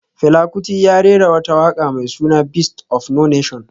Fela Kuti ya rera wata waka mai suna Beast of no nation